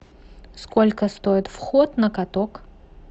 сколько стоит вход на каток